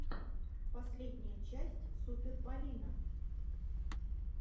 последняя часть супер полина